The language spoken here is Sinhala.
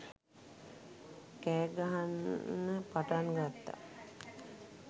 කෑ ගහන්න පටන් ගත්තා.